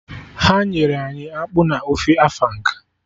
Ha nyere anyị akpụ na ofe afang